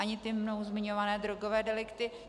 Ani ty mnou zmiňované drogové delikty.